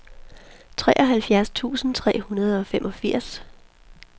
treoghalvfjerds tusind tre hundrede og femogfirs